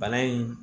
Bana in